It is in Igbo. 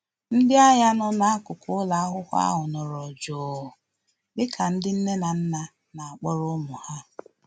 Ndị agha nọ na-akuku ụlọakwụkwọ ahụ nọrọ jụụ dịka ndị nne na nna na-akpọrọ ụmụ ha